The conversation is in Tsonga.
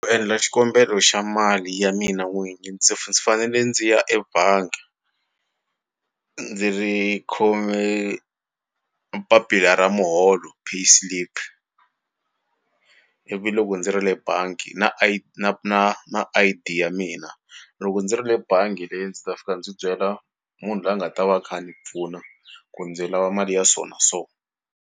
U endla xikombelo xa mali ya mina n'wini ndzi fanele ndzi ya ebangi ndzi ri khome papila ra muholo, pay slip ivi loko ndzi ri le bangi na na na na I_D ya mina loko ndzi ri le bangi le ndzi ta fika ndzi byela munhu loyi a nga ta va a kha a ni pfuna ku ndzi lava mali ya so na so.